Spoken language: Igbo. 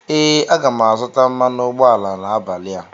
ee, aga m azụta mmanụ ụgbọala n 'abalị a